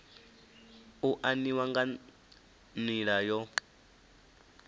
u aniwa nga nila yo